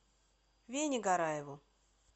вене гараеву